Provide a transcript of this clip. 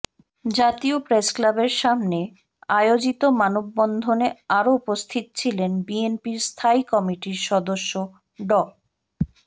জাতীয় প্রেসক্লাবের সামনে আয়োজিত মানববন্ধনে আরো উপস্থিত ছিলেন বিএনপির স্থায়ী কমিটির সদস্য ড